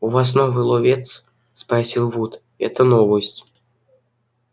у вас новый ловец спросил вуд это новость